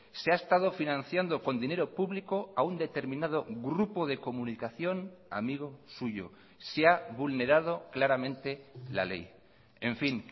se ha estado financiando con dinero público a un determinado grupo de comunicación amigo suyo se ha vulnerado claramente la ley en fin